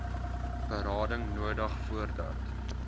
berading nodig voordat